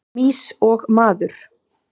Mýs og maður.